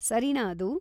ಸರಿನಾ ಅದು?